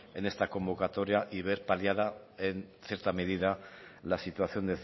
en esta convocatoria y ver paliada en cierta medida la situación